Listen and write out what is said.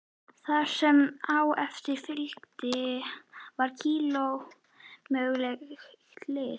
Það sem á eftir fylgdi var kolómögulegt lið.